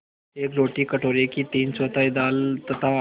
एक रोटी कटोरे की तीनचौथाई दाल तथा